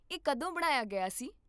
ਇਹ ਕਦੋਂ ਬਣਾਇਆ ਗਿਆ ਸੀ?